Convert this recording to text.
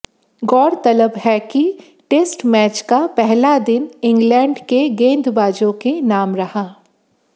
गौरतलब है कि टेस्ट मैच का पहला दिन इंग्लैंड के गेंदबाजों के नाम रहा